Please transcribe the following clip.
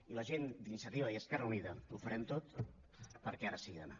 i la gent d’iniciativa i esquerra unida ho farem tot perquè ara sigui demà